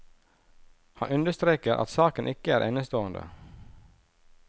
Han understreker at saken ikke er enestående.